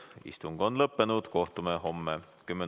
Istung on lõppenud, kohtume homme kell 10.